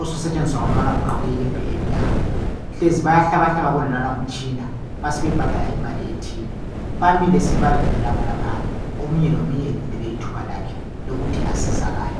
osusetshenziswa ngulwana ogqoke iyembe emnyama hlezi bayahlabahlaba kuwonalwana umtshina basebebhadala imali ethile bamile sibili baya landelana khonaphana omunye lomunye elindele ithuba lakhe lokuthi asizakale